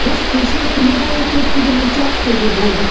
біз кеше күні бойы көптеген учаскеде болдық